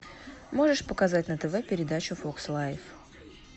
можешь показать на тв передачу фокс лайф